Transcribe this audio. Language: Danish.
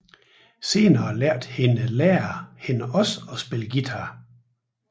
Senere lærte hendes lærer hende også at spille guitar